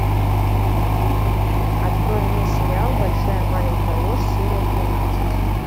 открой мне сериал большая маленькая ложь серия тринадцать